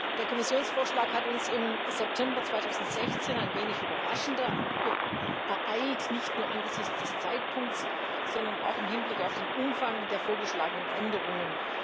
Der Kommissionsvorschlag hat uns im September 2016 ein wenig überraschend ereilt, nicht nur angesichts des Zeitpunkts, sondern auch im Hinblick auf den Umfang der vorgeschlagenen Änderungen.